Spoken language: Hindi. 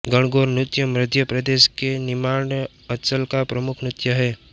गणगौर नृत्य मध्य प्रदेश के निमाड़ अंचल का प्रमुख नृत्य है